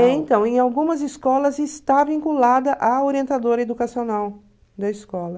Então, em algumas escolas está vinculada à orientadora educacional da escola.